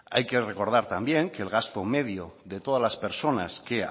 hay que recordar también que el gasto medio de todas la personas que